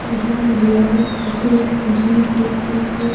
यहां महिलाएं अगर जिम करती हैं।